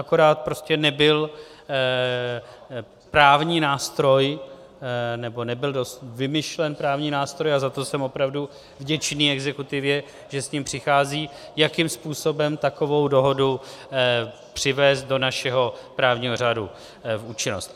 Akorát prostě nebyl právní nástroj, nebo nebyl vymyšlen právní nástroj, a za to jsem opravdu vděčný exekutivě, že s tím přichází, jakým způsobem takovou dohodu přivést do našeho právního řádu v účinnost.